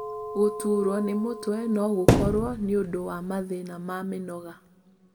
Gũtuurwo nĩ mũtwe no gũkorwo nĩ ũndũ wa mathĩna ma mĩnoga.